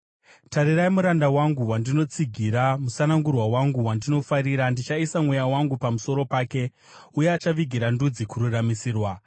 “Tarirai muranda wangu, wandinotsigira, musanangurwa wangu wandinofarira; Ndichaisa Mweya wangu pamusoro pake, uye achavigira ndudzi kururamisirwa.